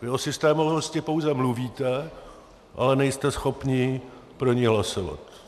Vy o systémovosti pouze mluvíte, ale nejste schopni pro ni hlasovat.